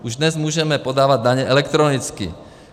Už dnes můžeme podávat daně elektronicky.